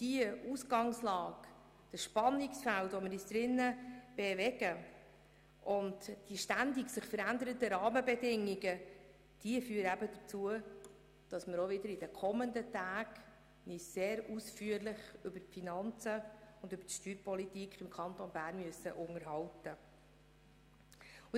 Das Spannungsfeld und die sich ständig verändernden Rahmenbedingungen führen dazu, dass wir uns in den kommenden Tagen sehr ausführlich über die Finanzen und die Steuerpolitik unterhalten müssen.